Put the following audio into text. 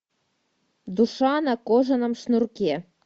душа на кожаном шнурке